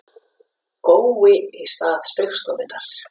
Gói í stað Spaugstofunnar